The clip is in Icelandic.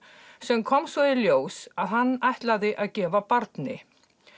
sem kom svo í ljós að hann ætlaði að gefa barni